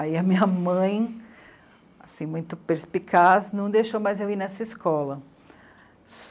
Aí a minha mãe, assim muito perspicaz, não deixou mais eu ir nessa escola.